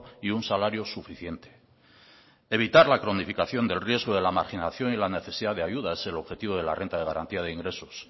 y un salario suficiente evitar la cronificación del riesgo de la marginación y la necesidad de ayudas es el objetivo de la renta de garantía de ingresos